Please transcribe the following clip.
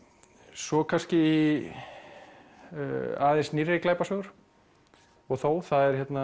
svo kannski aðeins nýrri glæpasögur og þó það er hérna